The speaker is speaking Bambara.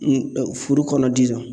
Furu kɔnɔ dizɔn